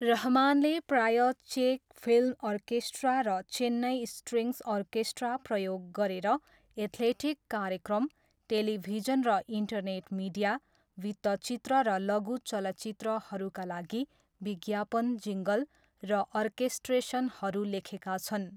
रहमानले प्रायः चेक film orchestra र चेन्नई स्ट्रिङ्ग्स अर्केस्ट्रा प्रयोग गरेर एथलेटिक कार्यक्रम, टेलिभिजन र इन्टरनेट मिडिया, वृत्तचित्र र लघु चलचित्रहरूका लागि विज्ञापन जिङ्गल र अर्केस्ट्रेसनहरू लेखेका छन्।